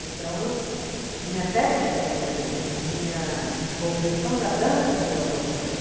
Então eu, minha técnica melhorou, a minha compreensão da dança melhorou também.